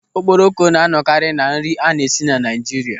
Okporoko na-anọkarị na nri a na-esi na Naịjiria.